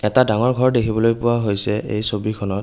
এটা ডাঙৰ ঘৰ দেখিবলৈ পোৱা হৈছে এই ছবিখনত।